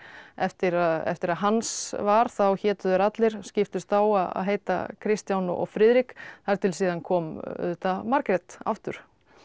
eftir að eftir að Hans var þá hétu þeir allir skiptust á að heita Kristján og Friðrik þar til síðan kom auðvitað Margrét aftur